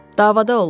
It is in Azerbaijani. Davada olub.